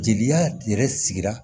Jeli yɛrɛ sigira